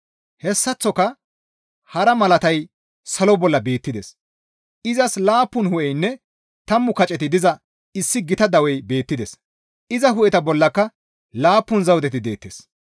Hessaththoka hara malatay salo bolla beettides; izas laappun hu7eynne tammu kaceti diza issi gita dawey beettides; iza hu7eta bollaka laappun zawudeti deettes.